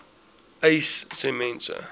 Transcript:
uys sê mense